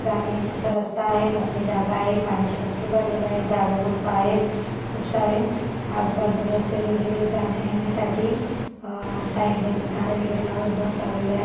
जाण्यायेण्याचा रस्ता आहे मोकळी जागा आहे पाण्याचे डबके भरलेले आहे झाड झुडपे आहेत खूप सारे आजुबाजुने रस्ते वगैरे आहेत जाण्यायेण्यासाठी अ साइड ने गाड्या वगैरे लावत बस लावलेले आहेत.